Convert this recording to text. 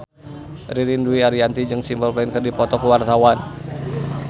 Ririn Dwi Ariyanti jeung Simple Plan keur dipoto ku wartawan